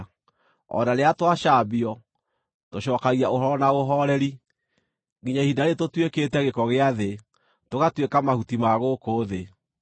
o na rĩrĩa twacambio, tũcookagia ũhoro na ũhooreri. Nginya ihinda rĩĩrĩ tũtuĩkĩte gĩko gĩa thĩ, tũgatuĩka mahuti ma gũkũ thĩ.